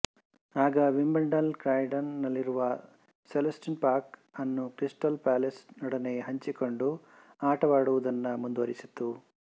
ಆಗ Wimbledon Croydon ನಲ್ಲಿರುವ Selhurst Park ಅನ್ನು ಕ್ರಿಸ್ಟಲ್ ಪ್ಯಾಲೇಸ್ ನೊಡನೆ ಹಂಚಿಕೊಂಡು ಆಟವಾಡುವುದನ್ನು ಮುಂದುವರಿಸಿತು